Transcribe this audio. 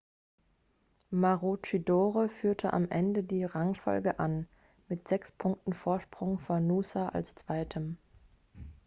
maroochydore führte am ende die rangfolge an mit sechs punkten vorsprung vor noosa als zweitem